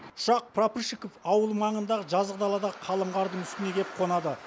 ұшақ прапорщиков ауылы маңындағы жазық даладағы қалың қардың үстіне келіп қонады